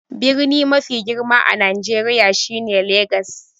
Birni mafi girma a Nijeriya shine Legas.